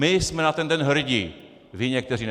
My jsme na ten den hrdí, vy někteří ne.